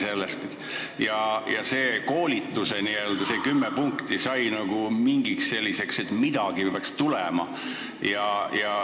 Need koolituse n-ö kümme punkti said mingiks selliseks asjaks, sest midagi pidi ju tulema.